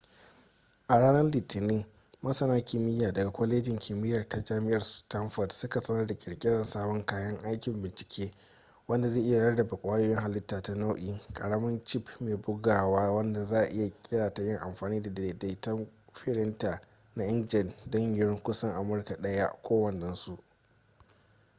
a ranar litinin masana kimiyya daga kwalejin kimiyya ta jami'ar stanford suka sanar da kirkirar sabon kayan aikin bincike wanda zai iya rarrabe kwayoyin hallita ta nau'i ƙaramin cip mai buguwa wanda za'a iya kera ta yin amfani da daidaitattun firinta na inkjet don yiwuwar kusan amurka ɗaya kowannensu